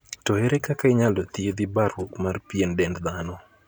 To ere kaka inyalo thiethi baruok mar pien dend dhano?